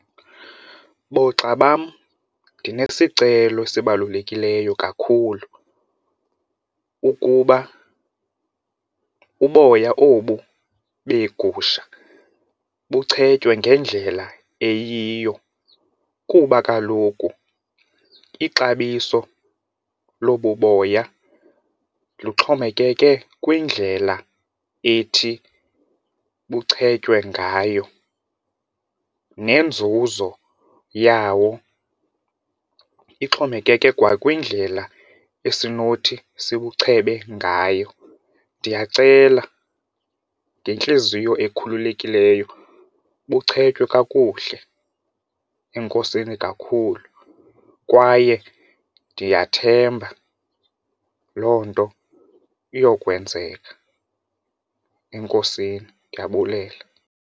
Boogxa bam ndinesicelo esibalulekileyo kakhulu, ukuba uboya obu beegusha buchetywe ngendlela eyiyo kuba kaloku ixabiso lobu boya luxhomekeke kwindlela ethi buchetywe ngayo nenzuzo yawo ixhomekeke kwakwindlela esinothi sibuchebeke ngayo. Ndiyacela ngentliziyo ekhululekileyo buchwetywe kakuhle enkosini kakhulu kwaye ndiyathemba loo nto iyakwenzeka enkosini ndiyabulela.